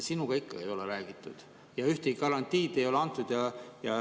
Sinuga ikka ei ole räägitud ja ühtegi garantiid ei ole antud.